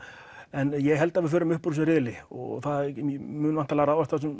en ég held að við förum upp úr þessum riðli og það mun væntanlega ráðast á þessum